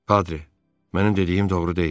Padri, mənim dediyim doğru deyil?